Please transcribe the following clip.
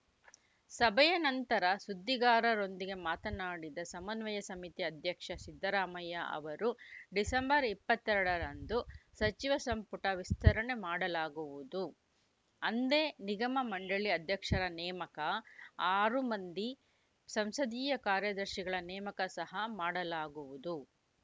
ಸಭೆಯ ನಂತರ ಸುದ್ದಿಗಾರರೊಂದಿಗೆ ಮಾತನಾಡಿದ ಸಮನ್ವಯ ಸಮಿತಿ ಅಧ್ಯಕ್ಷ ಸಿದ್ದರಾಮಯ್ಯ ಅವರು ಡಿಸೆಂಬರ್ ಇಪ್ಪತ್ತ್ ಎರಡರಂದು ಸಚಿವ ಸಂಪುಟ ವಿಸ್ತರಣೆ ಮಾಡಲಾಗುವುದು ಅಂದೇ ನಿಗಮ ಮಂಡಳಿ ಅಧ್ಯಕ್ಷರ ನೇಮಕ ಹಾಗೂ ಆರು ಮಂದಿ ಸಂಸದೀಯ ಕಾರ್ಯದರ್ಶಿಗಳ ನೇಮಕ ಸಹ ಮಾಡಲಾಗುವುದು